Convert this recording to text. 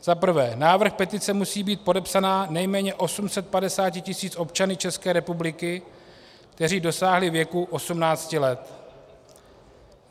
Za prvé: Návrh petice musí být podepsán nejméně 850 tisíci občanů České republiky, kteří dosáhli věku 18 let.